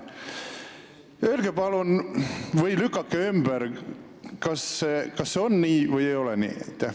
Öelge, palun, kas see on nii või ei ole?